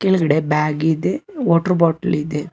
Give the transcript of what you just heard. ಕೆಳಗಡೆ ಬ್ಯಾಗ್ ಇದೆ water bottle ಇದೆ.